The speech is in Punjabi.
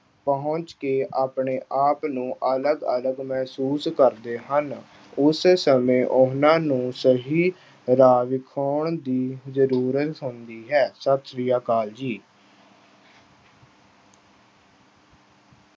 ਪਹੁੰਚ ਕੇ ਆਪਣੇ ਆਪ ਨੂੰ ਅਲੱਗ ਅਲੱਗ ਮਹਿਸੂਸ ਕਰਦੇ ਹਨ। ਉਸ ਸਮੇਂ ਉਨ੍ਹਾਂ ਨੂੰ ਸਹੀ ਰਾਹ ਦਿਖਾਉਣ ਦੀ ਜ਼ਰੂਰਤ ਹੁੰਦੀ ਹੈ। ਸਤਿ ਸ੍ਰੀ ਅਕਾਲ ਜੀ।